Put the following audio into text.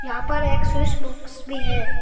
यहां पर एक स्विच बॉक्स भी है।